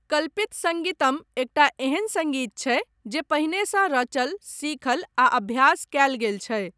कल्पित सङ्गीतम एकटा एहन सङ्गीत छै जे पहिनेसँ रचल, सीखल आ अभ्यास कयल गेल छै।